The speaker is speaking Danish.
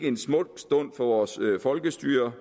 en smuk stund for vores folkestyre